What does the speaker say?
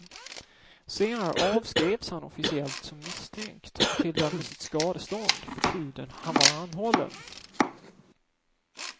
Senare avskrevs han officiellt som misstänkt och tilldömdes ett skadestånd för tiden han var anhållen.